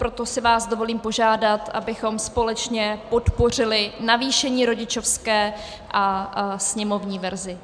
Proto si vás dovolím požádat, abychom společně podpořili navýšení rodičovské a sněmovní verzi.